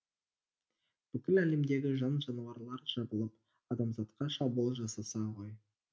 бүкіл әлемдегі жан жануарлар жабылып адамзатқа шабуыл жасаса ғой